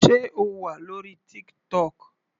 Sé O wà lórí TikTok.